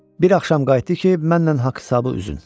Bir axşam qayıtdı ki, mənnən haqq-hesabı üzün.